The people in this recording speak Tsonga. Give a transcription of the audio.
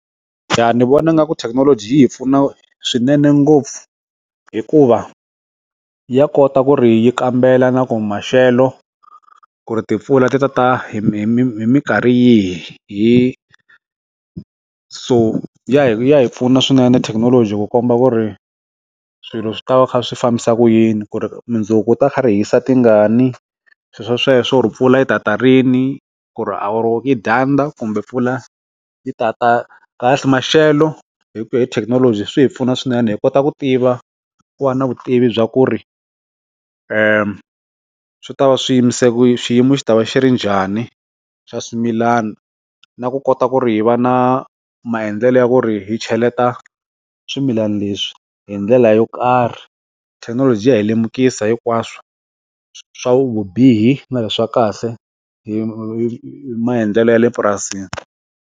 Jha ni vona nga ku thekinoloji yi hi pfuna swinene ngopfu hikuva ya kota ku ri yi kambela na ku maxelo ku ri timpfula ti tata hi mi mikarhi yihi hi so ya hi hi pfuna swinene thekinoloji ku komba ku ri swilo swi ta va swi fambisa ku yini ku ri mundzuku ta kha ri hisa tingani swilo sweswo ri mpfula yi tata rini ku ri dyandza kumbe pfula yi ta ta kahle kahle maxelo hi ku hi thekinoloji swi hi pfuna swinene hi kota ku tiva ku va na vutivi bya ku ri wi ta va swiyimo se swiyimo swi ta va xi ri njhani xa swimilana na ku kota ku ri hi va na maendlelo ya ku ri hi cheleta swimilana leswi hi ndlela yo karhi thekinoloji ya hi lemukisa hinkwaswo swa vubihi na leswa kahle hi maendlelo ya le purasini.